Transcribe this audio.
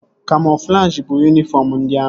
Kamoflajị bụ yunifọm ndị amị